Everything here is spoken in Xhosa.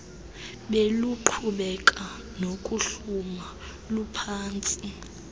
beluqhubeka nokuhluma luphantsi